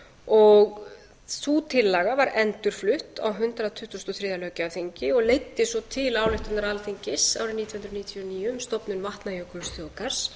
vatnajökulsþjóðgarða sú tillaga var endurflutt á hundrað tuttugasta og þriðja löggjafarþingi og leiddi svo til ályktunar alþingis árið nítján hundruð níutíu og níu um stofnun vatnajökulsþjóðgarðs